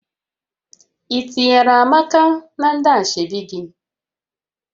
Ị tinyere Amaka na ndị ashebi gị?